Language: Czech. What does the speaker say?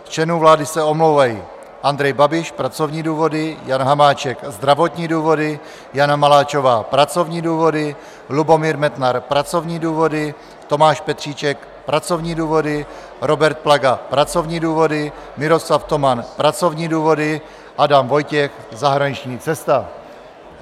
Z členů vlády se omlouvají: Andrej Babiš - pracovní důvody, Jan Hamáček - zdravotní důvody, Jana Maláčová - pracovní důvody, Lubomír Metnar - pracovní důvody, Tomáš Petříček - pracovní důvody, Robert Plaga - pracovní důvody, Miroslav Toman - pracovní důvody, Adam Vojtěch - zahraniční cesta.